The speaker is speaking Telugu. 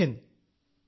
జై హింద్